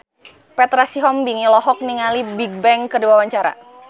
Petra Sihombing olohok ningali Bigbang keur diwawancara